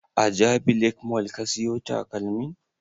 A jabi lake mall ka siyo takalmin?